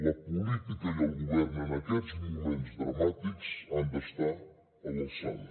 la política i el govern en aquests moments dramàtics han d’estar a l’alçada